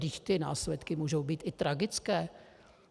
Vždyť ty následky můžou být i tragické.